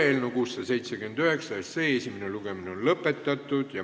Eelnõu 679 esimene lugemine on lõpetatud.